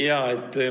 Jaa.